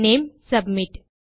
name submit